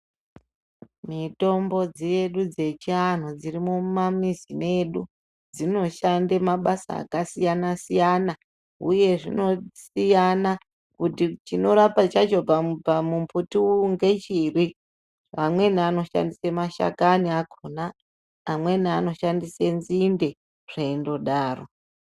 Mitombo dzedu dzechianhu dziri mumamizi mwedu dzinoshande mabasa akasiyana siyana uye zvinosiyana kuti chinorapa chacho pamumbuti ngechiri ,amweni anoshandise mashakani akhona, amweni anoshandise nzinde ,zveindodaro.